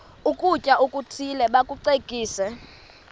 ukutya okuthile bakucekise